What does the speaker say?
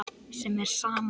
sem er sama og